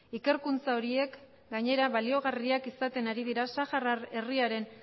ikerkuntza horiek gainera baliogarriak izaten ari dira saharar herriaren